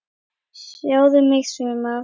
Sjáðu mig sumar!